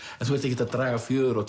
þú ert ekki að draga fjöður á